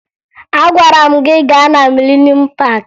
Agwara m gị gaa na Mịlenuum Paakị!